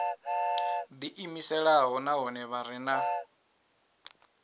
ḓiimiselaho nahone vha re na